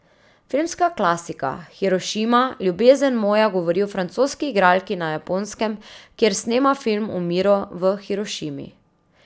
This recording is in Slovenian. Filmska klasika Hirošima, ljubezen moja govori o francoski igralki na Japonskem, kjer snema film o miru v Hirošimi.